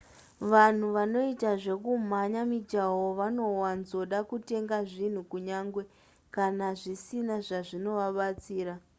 vanhu vanoita zvekumhanya mijaho vanowanzoda kutenga zvinhu kunyange kana zvisina zvazvinovabatsira